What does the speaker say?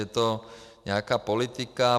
Je to nějaká politika.